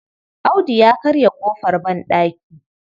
Audu ya karya ƙofar banɗaki.